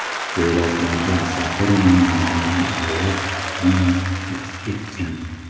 Suratlarda Saturnning muzlagan oyi Mimas aks etgan.